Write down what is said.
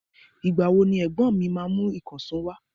Ìgbà wo ni ẹ̀gbọ́n mi máa mú ìkànsó wa?